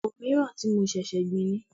Òmíràn tí mo ṣẹ̀ṣẹ̀ gbìn ni.